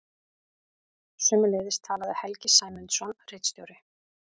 Sömuleiðis talaði Helgi Sæmundsson ritstjóri.